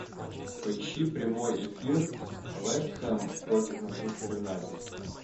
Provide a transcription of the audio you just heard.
поищи прямой эфир вест хэм против манчестер юнайтед